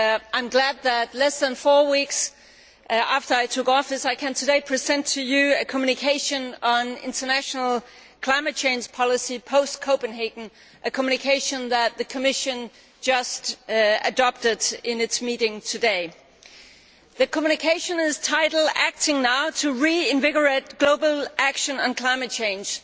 I am glad that, less than four weeks after I took office, I can today present to you a communication on international climate change policy post Copenhagen a communication that the Commission adopted in its meeting today. The communication is entitled Acting now to reinvigorate global action and climate change',